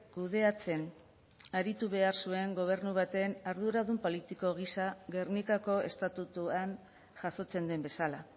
kudeatzen aritu behar zuen gobernu baten arduradun politiko gisa gernikako estatutuan jasotzen den bezala